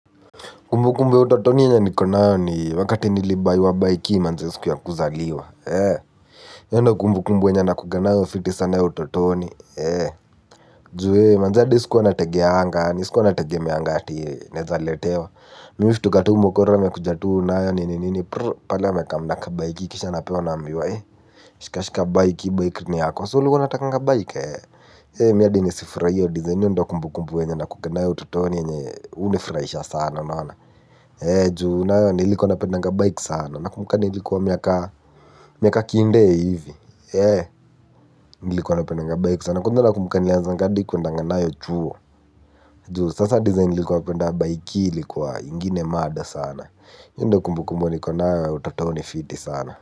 Kumbu kumbu ya utotoni yenye nikonayo ni wakati nilibaywa baiki manze siku ya kuzaliwa. Yo ndo kumbu kumbu wenye nakuganao fiti sana utotoni. Ju manze adi siku wana tege hanga hani siku wana tegemeanga hati nezaletewa. Mimistu katu mokoro mekujatuu nayo ni nini prrrr pala meka mnaka baiki kisha napewa na ambiwa hee. Shikashika baiki baiki ni yako wa sulu wanataka baiki hee. Hee miyadi ni sifryo dizain yo ndo kumbu kumbu wenye na kukanao utotoni yenye unifryisha sana naona ee juu nayo nilikuwa napendanga bike sana na kumkani nilikuwa miaka kiinde ya hivi ee nilikuwa napendanga bike sana kundona kumkani ya zangadi kuandanga nayo chuo juu sasa design nilikuwa napendanga bike ilikuwa ingine mada sana yu ndo kumbukumbo niko nayo utatooni fiti sana.